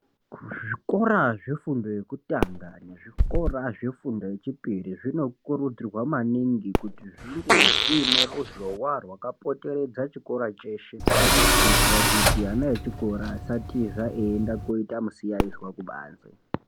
Zvikora zvefundo yekutanga, nezvikora zvefundo yechipiri zvinokurudzirwa maningi kuti zvinge zvine ruzhowa rwakapoteredza chikora chese, kuitira kuti ana echikora asatiza eyenda koita musiyayizva kubandze.